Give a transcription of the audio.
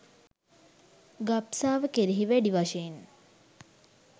ගබ්සාව කෙරෙහි වැඩි වශයෙන්